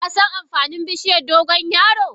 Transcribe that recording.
Kasan amfanin bishiyar dogon yaro?